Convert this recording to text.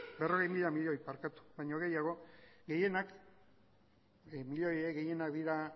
berrogei mila milioi baino gehiago gehienak dira